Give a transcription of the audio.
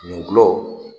N gulɔ